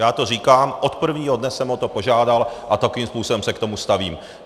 Já to říkám, od prvního dne jsem o to požádal a takovým způsobem se k tomu stavím.